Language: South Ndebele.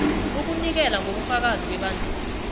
ukunikela ngobufakazi bebandulo